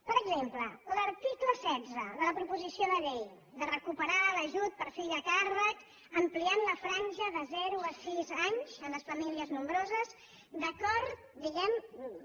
per exemple l’article setze de la proposició de llei de re·cuperar l’ajut per fill a càrrec ampliant la franja de zero a sis anys en les famílies nombroses d’acord diguem·ne